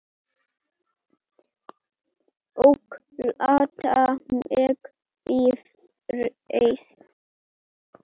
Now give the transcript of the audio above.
Sonur okkar, Ingvar, átti annað.